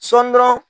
Sɔɔni dɔrɔn